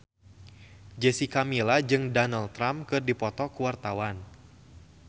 Jessica Milla jeung Donald Trump keur dipoto ku wartawan